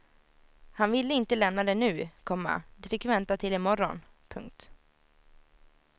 Han ville inte lämna det nu, komma det fick vänta till i morgon. punkt